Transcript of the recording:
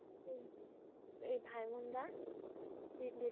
উম এই ভাইমুনদা